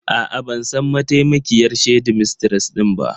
A'a, ban san mataimakiyar shedimistres ɗin ba.